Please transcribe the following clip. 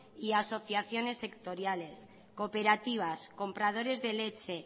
y asociaciones sectoriales cooperativas compradores de leche